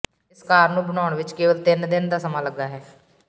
ਇਸ ਕਾਰ ਨੂੰ ਬਣਾਉਣ ਵਿੱਚ ਕੇਵਲ ਤਿੰਨ ਦਿਨ ਦਾ ਸਮਾਂ ਲੱਗਾ ਹੈ